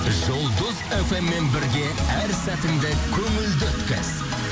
жұлдыз фм мен бірге әр сәтінді көңілді өткіз